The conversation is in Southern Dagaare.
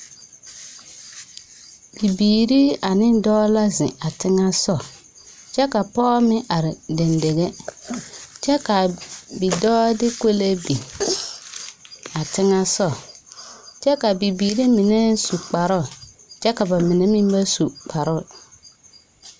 Bibiiri ane dɔɔ la zeŋ a teŋɛ sɔ, kyɛ ka pɔɔ meŋ are dendeŋe. Kyɛ k'a bidɔɔ de kolee bin a teŋɛ sɔ. Kyɛ ka bibiiri menɛ su kparoo, kyɛ ka ba menɛ meŋ ba su kparoo.